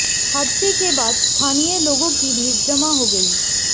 हादसे के बाद स्थानीय लोगों की भीड़ जमा हो गई